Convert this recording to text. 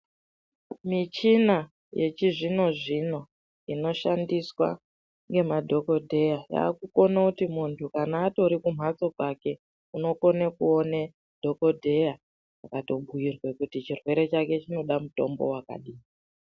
Michina yechizvino zvino inoshandiswa ngemadhokodheya yakukone kuti muntu kana atori kumbatso kwake unokone kuone dhokodheya akatobhiirwa chirwere chake chinoda mutombo wakadai.